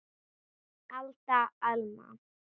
Alda, Alma.